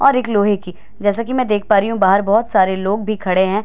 और एक लोहे की जैसा की मैं देख पा रही हूँ बाहर बहुत सारे लोग भी खड़े हैं।